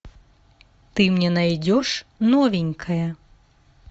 ты мне найдешь новенькая